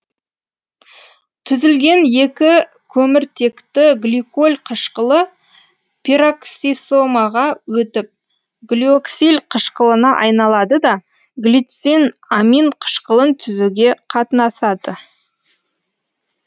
түзілген екі көміртекті гликоль қышқылы пероксисомаға өтіп глиоксиль қышқылына айналады да глицин амин қышқылын түзуге қатынасады